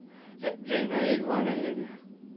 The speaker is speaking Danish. Jeg aner ikke, hvor han er henne.